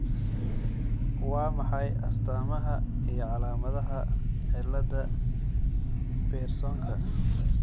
Waa maxay astaamaha iyo calaamadaha cillada Piersonka?